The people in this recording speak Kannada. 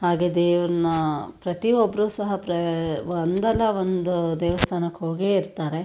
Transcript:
ಹಾಗೆ ದೇವ್ರನ್ನ ಪ್ರತಿಯೊಬ್ರು ಸಹ ಪ್ರ ಒಂದಲ್ಲಾ ಒಂದು ದೇವಸ್ಥಾನಕ್ಕೆ ಹೋಗೆ ಇರತ್ತರೆ.